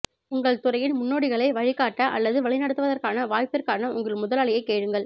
உங்கள் துறையின் முன்னோடிகளை வழிகாட்ட அல்லது வழிநடத்துவதற்கான வாய்ப்பிற்கான உங்கள் முதலாளியை கேளுங்கள்